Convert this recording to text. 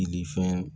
fɛn